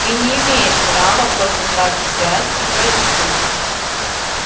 ты не имеешь права просто так взять и пойти